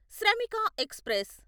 Shramik express